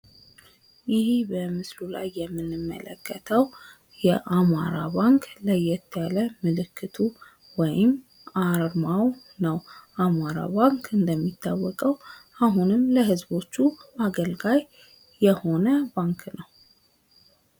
ይህ በምስሉ ላይ የምንመለከተው የአማራ ባንክ ለየት ያለ ምልክቱ ወይም አርማው ነው። አማራ ባንክ እንደሚታወቀው አሁንም ለህዝቦቹ አገልጋይ ባንክ ነው።